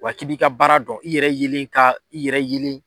Wa ki b'i ka baara dɔn, i yɛrɛ yelen ka, i yɛrɛ yelen.